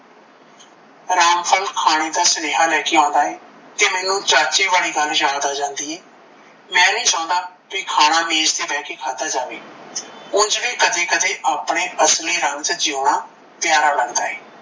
ਰਾਮਪਾਲ ਖਾਣੇ ਦਾ ਸੁਨਿਹਾ ਲੈਕੇ ਆਉਂਦਾ ਏ ਤੇ ਮੈਂਨੂੰ ਚਾਚੇ ਵਾਲੀ ਗੱਲ ਯਾਦ ਆ ਜਾਂਦੀ ਏ ਮੈ ਨਹੀਂ ਚਾਉਂਦਾ ਕੀ ਖਾਣਾ ਮੇਜ ਤੇ ਬਹਿ ਕੇ ਖਾਦਾ ਜਾਵੇ ਉਂਝ ਵੀ ਕਦੇ ਕਦੇ ਆਪਣੇ ਅਸਲੀ ਰੰਗ ਚ ਜਿਓਣਾ ਪਿਆਰਾ ਲੱਦਗਾ ਏ।